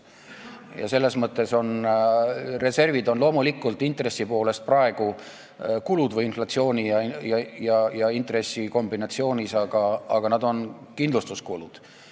Loomulikult on reservid intressi poolest või inflatsiooni ja intressi kombinatsioonis praegu kulud, aga nad on kindlustuskulud.